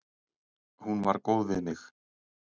Hún var góð við mig.